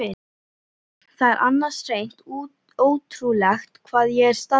Það er annars hreint ótrúlegt hvað ég er staðfastur.